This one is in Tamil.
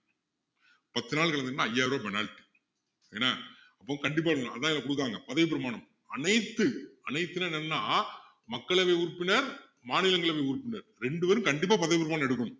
பத்து நாள் இருந்ததுன்னா ஐயாயிரம் ரூபாய் penalty என்ன அப்போ கண்டிப்பா இருக்கணும் அதான் இத குடுக்குறாங்க பதவிப்பிரமாணம் அனைத்து அனைத்துல என்னன்னா மக்களவை உறுப்பினர் மாநிலங்களவை உறுப்பினர் ரெண்டு பேரும் கண்டிப்பா பதவிப் பிரமாணம் எடுக்கணும்